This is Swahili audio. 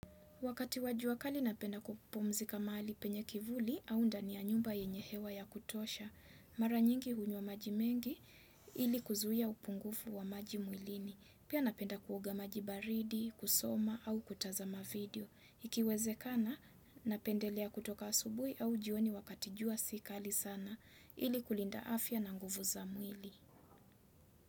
Wakati wa jua kali napenda kupumzika mahali penye kivuli au ndani ya nyumba yenye hewa ya kutosha. Mara nyingi hunywa maji mengi ili kuzuia upungufu wa maji mwilini. Pia napenda kuoga maji baridi, kusoma au kutazama video. Ikiwezekana napendelea kutoka asubuhi au jioni wakati jua si kali sana ili kulinda afya na nguvu za mwili.